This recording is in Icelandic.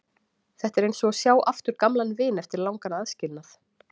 Þetta er eins og að sjá aftur gamlan vin eftir langan aðskilnað.